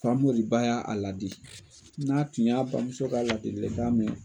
Famori ba y'a a ladi. N'a tun y'a bamuso ka ladilikan mɛ